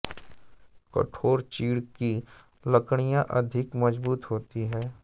कठोर चीड़ की लकड़ियाँ अधिक मजबूत होती हैं